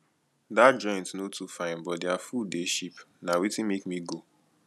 dat joint no too fine but their food dey cheap na wetin make me go